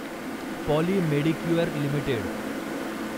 poly Medicure limited